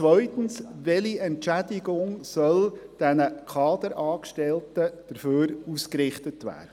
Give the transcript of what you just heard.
Zweitens: Welche Entschädigung soll den Kaderangestellten dafür ausgerichtet werden?